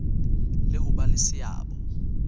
le ho ba le seabo